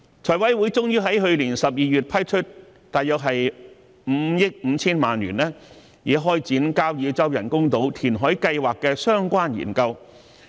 財委會終於在去年12月批出約5億 5,000 萬元撥款，以開展交椅洲人工島填海計劃的相關研究。